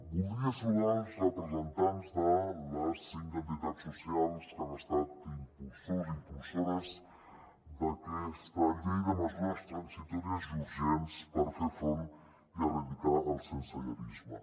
voldria saludar els representants de les cinc entitats socials que han estat impulsors i impulsores d’aquesta llei de mesures transitòries i urgents per fer front i erradicar el sensellarisme